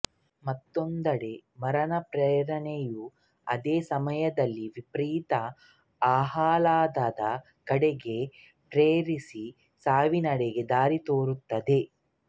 ಮತ್ತೊಂದೆಡೆ ಮರಣ ಪ್ರೇರಣೆಯು ಅದೇ ಸಮಯದಲ್ಲಿ ವಿಪರೀತ ಆಹ್ಲಾದದ ಕಡೆಗೆ ಪ್ರೇರಿಸಿ ಸಾವಿನೆಡೆ ದಾರಿ ತೋರುತ್ತದೆ